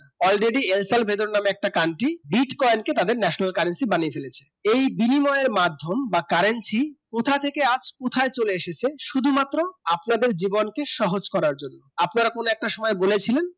already এলসাল Salvador নামক country bitcoin কে তাদের national currency বানিয়ে ফেলেছে এই বিনিময়ে মাধ্যম বা currency কোথা থেকে আজ কোথায় চলে এসেছে শুধু মাত্র আপনাদের জীবনকে সহজ করার জন্য আপনারা কোনো এক সময় বলেছিলেন